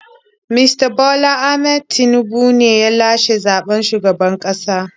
Mista Bola Ahmad Tinubu ne ya lashe zaɓen shugaban ƙasa.